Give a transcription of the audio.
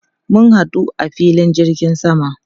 Mun hadu a filin jirgin sama.